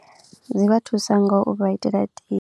Dzi vha thusa ngau vha itela tie.